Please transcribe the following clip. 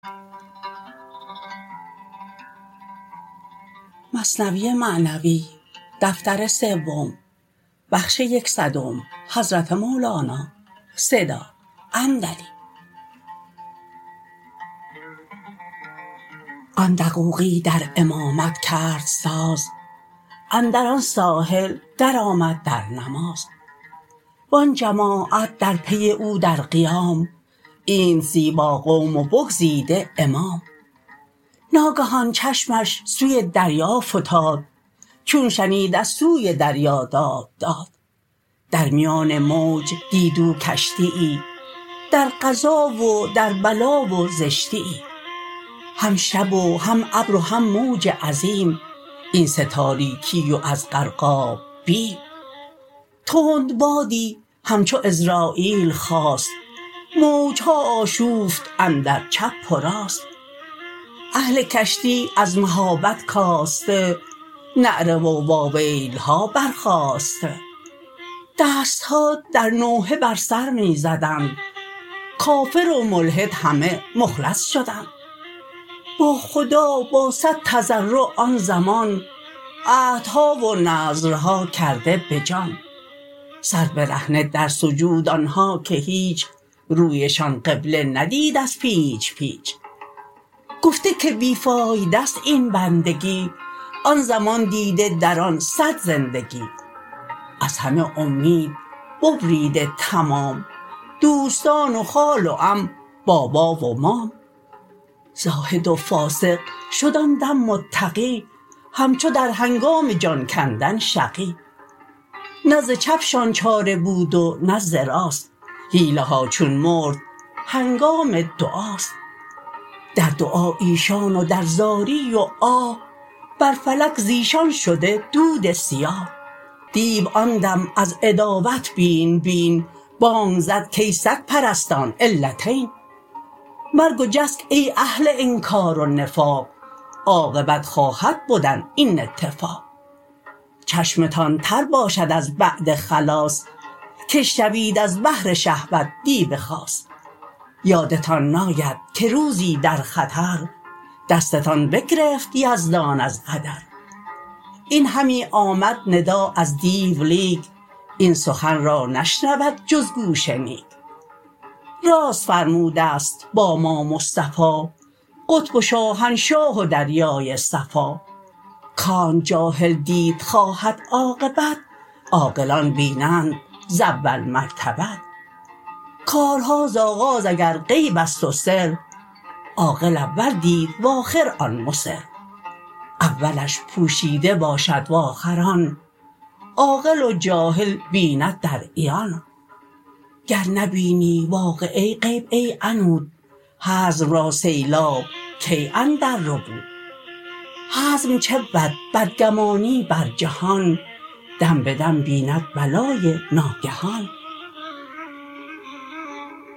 آن دقوقی در امامت کرد ساز اندر آن ساحل در آمد در نماز و آن جماعت در پی او در قیام اینت زیبا قوم و بگزیده امام ناگهان چشمش سوی دریا فتاد چون شنید از سوی دریا داد داد در میان موج دید او کشتیی در قضا و در بلا و زشتیی هم شب و هم ابر و هم موج عظیم این سه تاریکی و از غرقاب بیم تند بادی همچو عزراییل خاست موجها آشوفت اندر چپ و راست اهل کشتی از مهابت کاسته نعره وا ویلها برخاسته دستها در نوحه بر سر می زدند کافر و ملحد همه مخلص شدند با خدا با صد تضرع آن زمان عهدها و نذرها کرده به جان سر برهنه در سجود آنها که هیچ رویشان قبله ندید از پیچ پیچ گفته که بی فایده ست این بندگی آن زمان دیده در آن صد زندگی از همه اومید ببریده تمام دوستان و خال و عم بابا و مام زاهد و فاسق شد آن دم متقی همچو در هنگام جان کندن شقی نه ز چپشان چاره بود و نه ز راست حیله ها چون مرد هنگام دعاست در دعا ایشان و در زاری و آه بر فلک زیشان شده دود سیاه دیو آن دم از عداوت بین بین بانگ زد کای سگ پرستان علتین مرگ و جسک ای اهل انکار و نفاق عاقبت خواهد بدن این اتفاق چشمتان تر باشد از بعد خلاص که شوید از بهر شهوت دیو خاص یادتان ناید که روزی در خطر دستتان بگرفت یزدان از قدر این همی آمد ندا از دیو لیک این سخن را نشنود جز گوش نیک راست فرمودست با ما مصطفی قطب و شاهنشاه و دریای صفا کانچ جاهل دید خواهد عاقبت عاقلان بینند ز اول مرتبت کارها ز آغاز اگر غیبست و سر عاقل اول دید و آخر آن مصر اولش پوشیده باشد و آخر آن عاقل و جاهل ببیند در عیان گر نبینی واقعه غیب ای عنود حزم را سیلاب کی اندر ربود حزم چه بود بدگمانی بر جهان دم بدم بیند بلای ناگهان